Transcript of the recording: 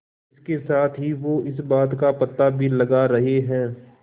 इसके साथ ही वो इस बात का पता भी लगा रहे हैं